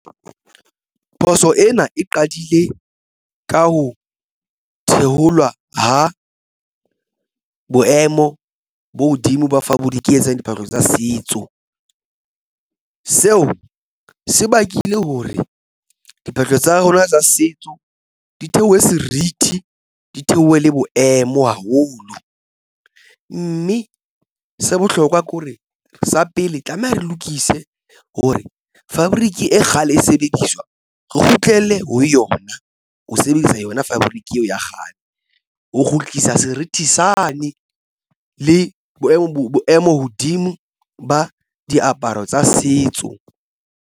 Phoso ena e qadile ka ho theolwa ha boemo bo hodimo diphahlo tsa setso seo se bakile hore diphahlo tsa rona tsa setso di theohe serithi di theohe le boemo haholo, mme se bohlokwa ke hore sa pele tlameha re lokise hore fabric e kgale e sebediswa re kgutlele ho yona ho sebedisa yona fabric eo ya kgale ho kgutlisa serithi sane le boemo hodimo ba diaparo tsa setso.